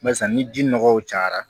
Barisa ni ji nɔgɔw cayara